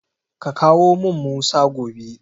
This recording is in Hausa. Ka kawo min Musa gobe.